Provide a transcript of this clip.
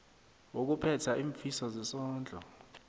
wokuphetha iimfiso zesondlo